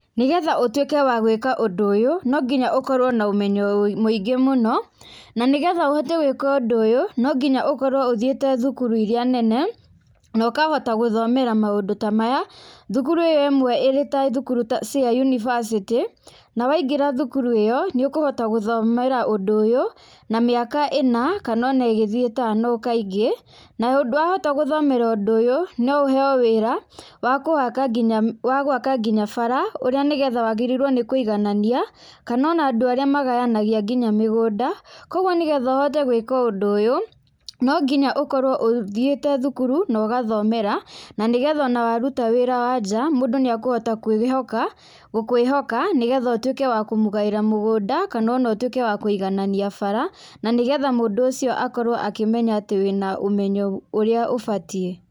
Nĩgetha ũtuĩke wa gwĩka ũndũ ũyũ nonginya ũkorwo na ũmeyo wũi mũingĩ mũno na nĩgetha ũhote gwĩka ũndũ ũyũ, nonginya ũkorwo ũthiĩte thukuru iria nene nokahota gũthomera maũndu ta maya, thukuru ĩyo ĩmwe ĩrĩ ta thukuru ta cia yunibacĩtĩ na waingĩra thukuru ĩyo nĩũkũhota gũthomera ũndũ ũyũ na mĩaka ĩna kana ona ĩgĩthie ĩtano kaingĩ nayo wahota gũthomera wĩra ũyũ, noũheo wagwaka wagwa nginya bara ũrĩa wagĩrĩirwo nĩ kũiganania kana ona andũ arĩa magayanagia nginya mĩgũnda koguo nĩgetha ũhote gwĩka ũndũ ũyũ nonginya ũkorwo ũthiĩte thukuru na ũgathomera na nigetha ona waruta wĩra wa njaa mũndũ nĩakũhota kwĩhoka gũkwĩhoka nĩgetha ũtuĩke wa kũmũgaĩra mũgũnda kana ona ũtwĩke wa kũiganania bara nanĩgetha mũndũ ũcio akorwo akĩmenya atĩ wĩna ũmenyo ũrĩa ũbatiĩ